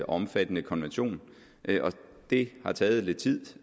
omfattende konvention og det har taget lidt tid